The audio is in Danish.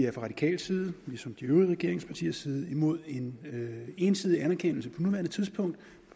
radikal side ligesom fra de øvrige regeringspartiers side er imod en ensidig anerkendelse på nuværende tidspunkt